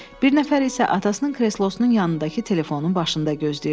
Bir nəfər isə atasının kreslosunun yanındakı telefonun başında gözləyirdi.